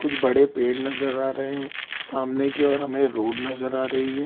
कुछ बड़े पेड़ नजर आ रहे हैं सामने की ओर हमें रोड नजर आ रही है ।